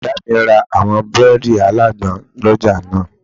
Ìyá mi ra àwọn búrẹ́ẹ́dì alágbọn lọ́jà náà